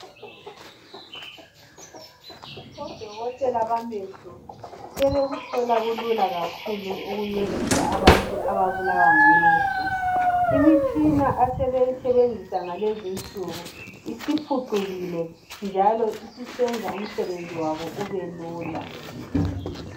Odokotela bamehlo sebekuthola kakhulu ukuncedisa abantu ababulawa ngamehlo. Imitshina asebeyisenzisa kulezinsuku isiphucukile njalo iyenza umsebenzi wabo ubelula.